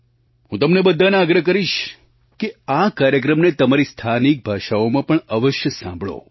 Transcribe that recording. હું તમને બધાને આગ્રહ કરીશ કે આ કાર્યક્રમને તમારી સ્થાનિક ભાષાઓમાં પણ અવશ્ય સાંભળો